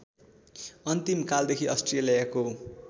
अन्तिम कालदेखि अस्ट्रेलियाको